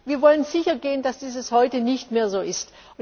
dorthin. Wir wollen sichergehen, dass es heute nicht mehr